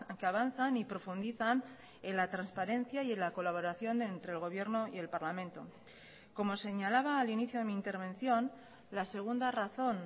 que avanzan y profundizan en la transparencia y en la colaboración entre el gobierno y el parlamento como señalaba al inicio de mi intervención la segunda razón